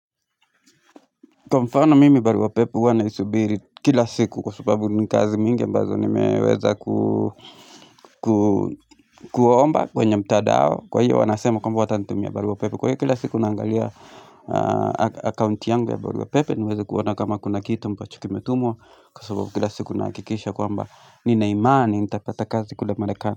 Kwa mfano mimi barua pepe huwa naisubiri kila siku kwa sababu ni kazi mingi ambazo nimeweza kuomba kwenye mtandao kwa hiyo wanasema kwamba watanitumia barua pepe kwa hiyo kila siku naangalia account yangu ya barua pepe niweze kuona kama kuna kitu ambacho kimetumwa kwa sababu kila siku nahakikisha kwamba nina imani nitapata kazi kule marekani.